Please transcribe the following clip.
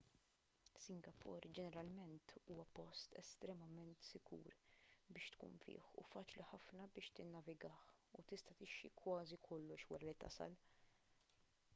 singapore ġeneralment huwa post estremament sigur biex tkun fih u faċli ħafna biex tinnavigah u tista' tixtri kważi kollox wara li tasal